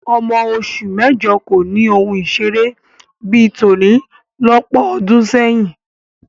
Ọmọ oṣù mẹ́jọ kò ni ohun ìṣeré bí i tòní lọ́pọ̀ ọdún sẹ́yìn